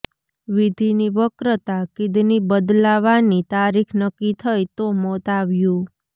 વિધીની વક્રતા કિડની બદલાવાની તારીખ નક્કી થઈ તો મોત આવ્યું